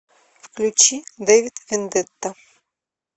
включи дэвид вендетта